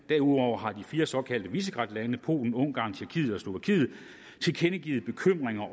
derudover har de fire såkaldte visegradlande polen ungarn tjekkiet og slovakiet tilkendegivet bekymringer